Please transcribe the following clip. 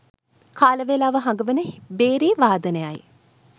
කාලවේලාව හඟවන භේරී වාදනයයි.